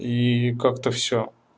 и как-то всё